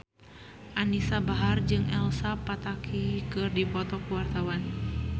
Anisa Bahar jeung Elsa Pataky keur dipoto ku wartawan